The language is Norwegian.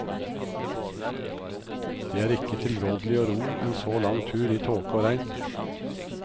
Det er ikke tilrådelig å ro en så lang tur i tåke og regn.